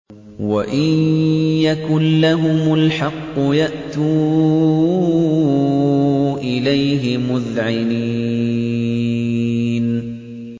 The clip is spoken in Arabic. وَإِن يَكُن لَّهُمُ الْحَقُّ يَأْتُوا إِلَيْهِ مُذْعِنِينَ